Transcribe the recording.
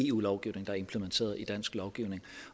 eu lovgivning der er implementeret i dansk lovgivning